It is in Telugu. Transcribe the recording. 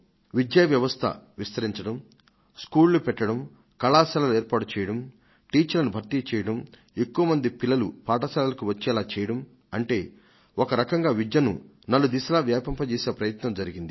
విద్యా వ్యవస్థను విస్తరించడం స్కూళ్లు పెట్టడం కళాశాలలు ఏర్పాటు చేయడం టీచర్లను భర్తీ చేయడం ఎక్కువ మంది పిల్లలు పాఠశాలలకు వచ్చేలా చేయడం అంటే ఒక రకంగా విద్యను నలు దిశలా వ్యాపింజేసే ప్రయత్నం జరిగింది